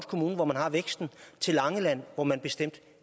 kommune hvor man har væksten til langeland hvor man bestemt